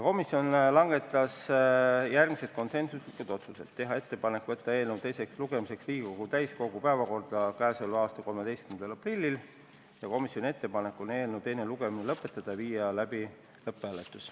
Komisjon langetas järgmised konsensuslikud otsused: teha ettepanek võtta eelnõu teiseks lugemiseks Riigikogu täiskogu päevakorda k.a 13. aprilliks, eelnõu teine lugemine lõpetada ja viia läbi lõpphääletus.